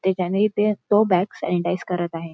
त्याच्याने ते तो बॅग सॅनिटाईझ करत आहे